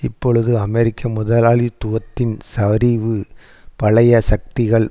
இப்பொழுது அமெரிக்க முதலாளித்துவத்தின் சரிவு பழைய சக்திகள்